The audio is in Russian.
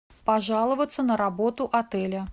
пожаловаться на работу отеля